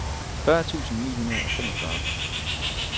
fyrre tusind ni hundrede og femogfyrre